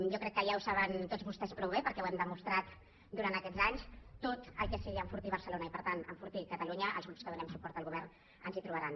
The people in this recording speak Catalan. jo crec que ja ho saben tots vostès prou bé perquè ho hem demostrat durant aquests anys en tot el que sigui enfortir barcelona i per tant enfortir catalunya als grups que donem suport al govern ens hi trobaran